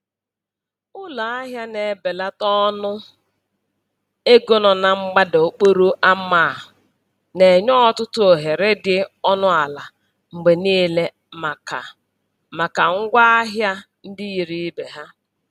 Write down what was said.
Ụlọ ahịa na-ebelata ọnụ ego nọ na mgbada okporo ama a na-enye ọtụtụ ohere dị ọnụ ala mgbe niile maka maka ngwa ahịa ndị yiri ibe ha.